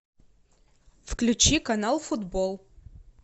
включи канал футбол